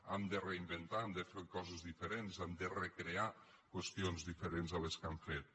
hem de reinventar hem de fer coses diferents hem de recrear qüestions diferents de les que hem fet